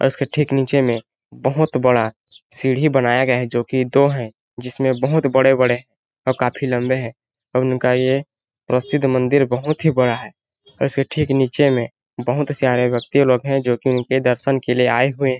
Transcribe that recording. और उसके नीचे में बहुत बड़ा सीढ़ी बनाया गया जो की दो है जिसमे बहुत बड़े-बड़े और काफी लंबे है उनका ये प्रसिद्ध मंदिर बहुत ही बड़ा है इसके ठीक नीचे में बहुत सारे व्यक्ति लोग है जो कि उनके दर्शन के लिए आये हुए--